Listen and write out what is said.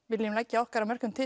viljum leggja okkar að mörkum til